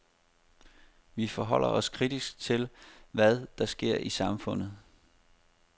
Vi forholder os kritisk til, hvad der sker i samfundet.